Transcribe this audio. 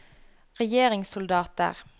regjeringssoldater